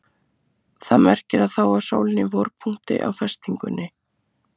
Það merkir að þá var sólin í vorpunkti á festingunni.